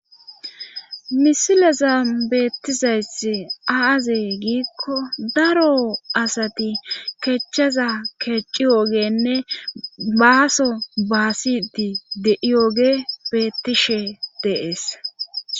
Misileza beettizayth aazee giikko daro asati kechchaza keecci yoogenne baaso baasiti de'iyooge beettishe deees.